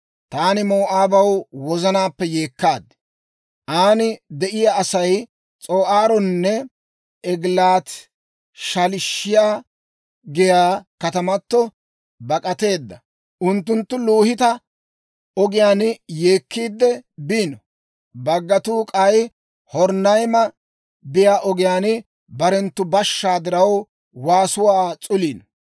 Taani Moo'aabaw wozanaappe yeekkaad; aan de'iyaa Asay S'oo'aaronne Egilaati-Shaliishiyaa giyaa katamatoo bak'ateedda. Unttunttu Luhiita ogiyaan yeekkiidde biino; baggatuu k'ay Horonayma biyaa ogiyaan, barenttu bashshaa diraw, waasuwaa s'uliino.